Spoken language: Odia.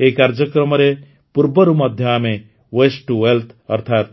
ଏହି କାର୍ଯ୍ୟକ୍ରମରେ ପୂର୍ବରୁ ମଧ୍ୟ ଆମେ ୱେଷ୍ଟ୍ ଟୁ ୱେଲଥ୍ ଅର୍ଥାତ